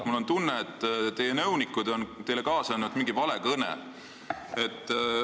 Mul on tunne, et teie nõunikud on teile kaasa andnud mingi vale kõne.